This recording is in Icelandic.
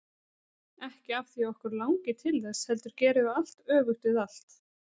Ekki af því að okkur langi til þess, heldur gerum við allt öfugt við allt.